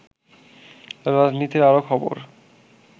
রাজনীতির আরো খবর